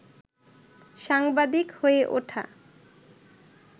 সাংবাদিক হয়ে ওঠা